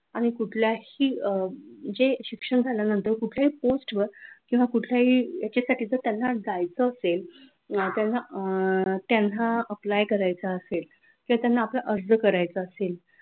आणि कुठल्याही अह जे शिक्षण झाल्यानंतर कुठल्याही post वर किंवा कुठल्याही याच्यासाठी तर त्यांना जायचं असेल त्यांना अह त्यांना apply करायचं असेल किंवा त्यांना आपला अर्ज करायचा असेल.